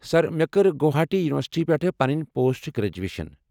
سر، مےٚ کٔر گوہاٹی یونیورسٹی پٮ۪ٹھہٕ پنٕنۍ پوسٹ گریجویشن۔